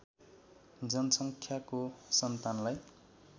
जनसङ्ख्याको सन्तानलाई